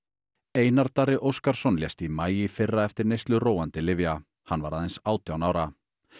Einar Darri Óskarsson lést í maí í fyrra eftir neyslu róandi lyfja hann var aðeins átján ára